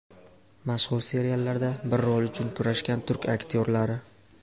Mashhur seriallarda bir rol uchun kurashgan turk aktyorlari .